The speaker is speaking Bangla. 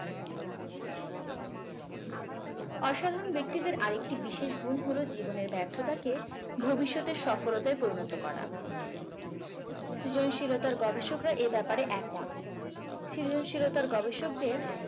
অসাধারণ ব্যক্তিদের আর একটি বিশেষ গুণ হলো জীবনের ব্যর্থতাকে ভবিষ্যতের সফলতায় পরিণত করা। সৃজনশীলতার গবেষকরা এ ব্যাপারে একমত। সৃজনশীলতার গবেষকদের